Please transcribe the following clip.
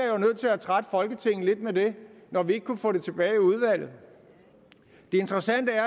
jo nødt til at trætte folketinget lidt med det når vi ikke kunne få det tilbage i udvalget det interessante er